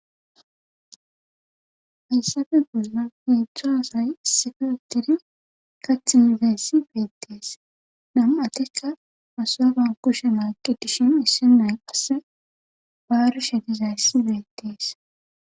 Hayssappe bollan heedzdzu asay issippe uttidi kaththi midayssi beetees.nam'atikka ashoba kushiyan aati dishin issi nay qasse baarishe dizay beetees.